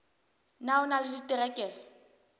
na o na le diterekere